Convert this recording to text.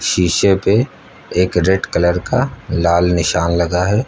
शीशे पे एक रेड कलर का लाल निशान लगा है।